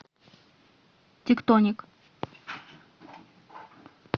тектоник